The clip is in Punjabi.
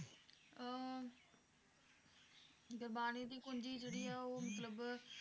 ਅਹ ਗੁਰਬਾਣੀ ਦੀ ਪੂੰਜੀ ਜਿਹੜੀ ਆ ਉਹ ਮਤਲਬ